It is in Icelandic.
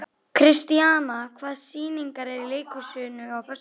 Kristíanna, hvaða sýningar eru í leikhúsinu á föstudaginn?